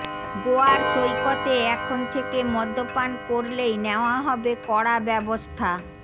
গোয়ার সৈকতে এখন থেকে মদ্যপান করলেই নেওয়া হবে কড়া ব্যবস্থা